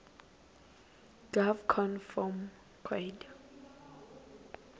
gov conv form coid